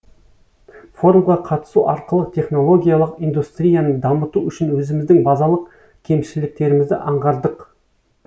форумға қатысу арқылы технологиялық индустрияны дамыту үшін өзіміздің базалық кемшіліктерімізді аңғардық